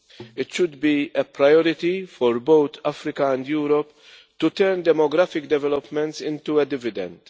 It should be a priority for both Africa and Europe to turn demographic developments into a dividend.